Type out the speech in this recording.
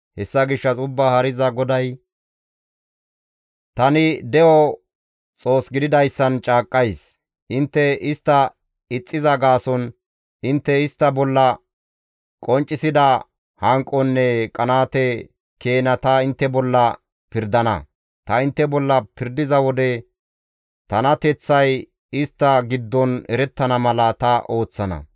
Hessa gishshas Ubbaa Haariza GODAY tani de7o Xoos gididayssan caaqqays; intte istta ixxiza gaason, intte istta bolla qonccisida hanqonne qanaate keena ta intte bolla pirdana; ta intte bolla pirdiza wode tanateththay istta giddon erettana mala ta ooththana.